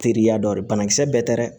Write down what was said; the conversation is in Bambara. Teriya dɔ ye banakisɛ bɛɛ tɛ dɛ